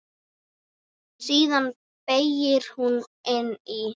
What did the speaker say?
Síðan beygir hún inn í